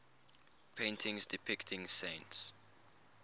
paintings depicting saints